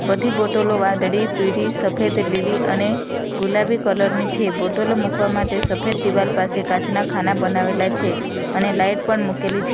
બધી બોટલો વાદળી પીળી સફેદ લીલી અને ગુલાબી કલર ની છે બોટલો મુકવા માટે સફેદ દિવાલ પાસે કાચના ખાના બનાવેલા છે અને લાઈટ પણ મૂકેલી છે --